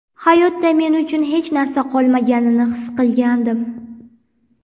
Hayotda men uchun hech narsa qolmaganini his qilgandim”.